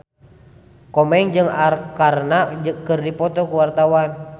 Komeng jeung Arkarna keur dipoto ku wartawan